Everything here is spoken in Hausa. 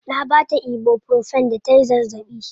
Na baa ta ibuprofen da tayi zazzaɓi.